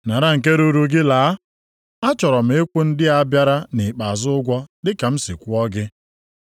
Nara nke ruru gị laa. A chọrọ m ịkwụ ndị a bịara nʼikpeazụ ụgwọ dị ka m si kwụọ gị.